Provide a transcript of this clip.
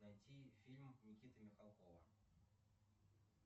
найти фильм никиты михалкова